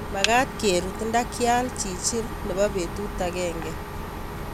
Magat kerut ndakial chichil nepo petut agenge